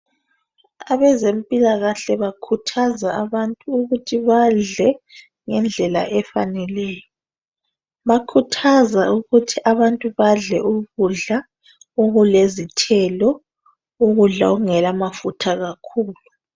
Abezempilakahle bakhuthaza abantu ukuthi badle ngendlela efaneleyo bakhuthaza ukuthi abantu badle ukudla okule zithelo ukudla okungela mafutha kakhulu.